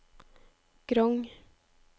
Grong